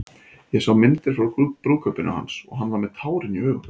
Ég sá myndir frá brúðkaupinu hans og hann var með tárin í augunum.